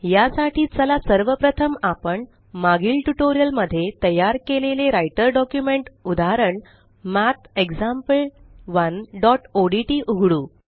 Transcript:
या साठी चला सर्व प्रथम आपण मागील ट्यूटोरियल मध्ये तयार केलेले राइटर डॉक्युमेंट उदाहरण mathexample1ओडीटी उघडू